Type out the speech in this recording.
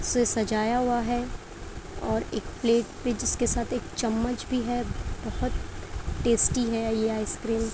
से सजाया हुआ है और एक प्लेट पे जिसके साथ एक चम्मच भी है। बहोत टेस्टी है ये आइसक्रीम ।